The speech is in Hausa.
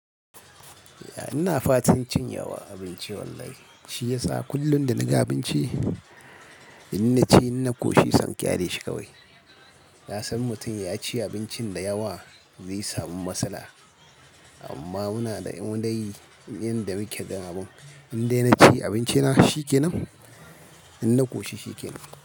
Ina fatan cin yawa abinci wallahi shiyasa kullum da naga abinci in naci in na koshi sai in ƙyaleshi kawai. Na san mutum ya ci abinci da yawa zai samu matsala amma muna da indai yanda muke daman. Indai naci abinci na shi kenan, in na koshi shi kenan.